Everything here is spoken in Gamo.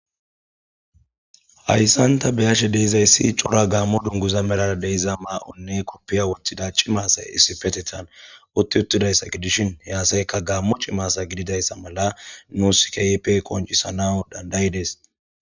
hayssan ta beyashe deezaysi cora gaammo dunguza melara deiza maa7onne koppiya woththida cimaasay issifetetan utti uttidayssa gidishin hey asayka gaammo cimasa gididayssa mala nu sikaype koncisana dandayidees